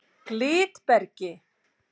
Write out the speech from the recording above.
Glitbergi